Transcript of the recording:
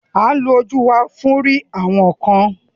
We use our eyes for seeing things